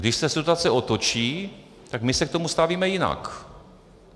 Když se situace otočí, tak my se k tomu stavíme jinak.